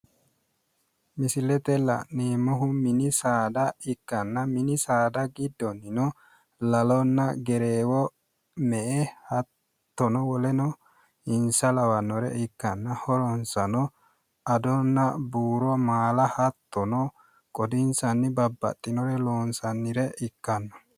Misilete la'neemmohu mini saada ikkanna mini saada giddonnino lalonna gereewo me'e hattono woleno insa lawannore ikkanna horonsano adonna buuro maala hattono qodinsanni babbaxxinore loonsannire ikkanno